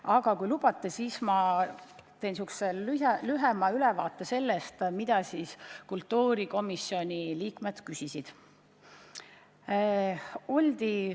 Aga kui lubate, siis ma annan lühikese ülevaate sellest, mida kultuurikomisjoni liikmed küsisid.